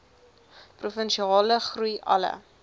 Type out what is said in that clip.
provinsiale groei alle